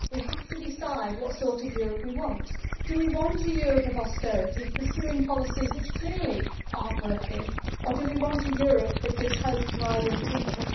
We have to decide what sort of Europe we want. Do we want a Europe of austerity, pursuing policies which clearly are not working, or do we want a Europe that gives hope to our young people?